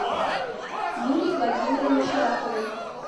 юлии владимировне шараповой